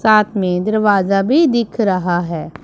साथ में दरवाजा भी दिख रहा है।